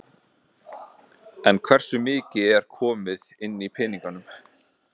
En hversu mikið er komið inn í peningum?